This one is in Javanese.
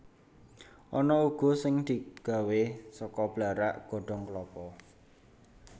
Ana uga sing digawé saka blarak godhong klapa